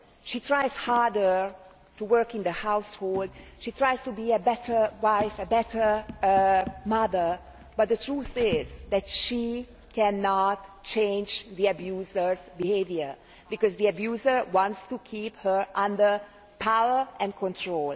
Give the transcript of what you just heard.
She tries to work harder in the house, she tries to be a better wife, a better mother, but the truth is that she cannot change the abuser's behaviour, because the abuser wants to keep her under his power and control.